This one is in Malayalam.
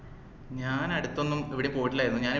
ഞാൻ അടുത്തൊന്നും എവിടേം പോയിട്ടില്ലായിരുന്നു ഞാൻ